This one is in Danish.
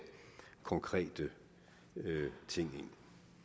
konkrete ting